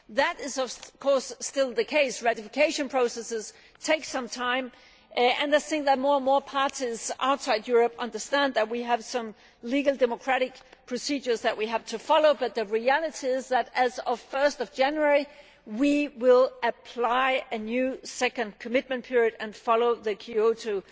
That is of course still the case ratification processes take some time and I think that more and more parties outside Europe understand that we have legal democratic procedures that we have to follow but the reality is that, as of 1 January, we will apply a new second commitment period and follow the Kyoto